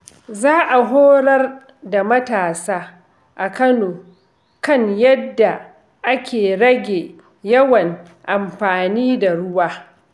Za a horar da matasa a Kano kan yadda ake rage yawan amfani da ruwa.